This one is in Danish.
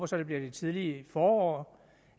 så det bliver i det tidlige forår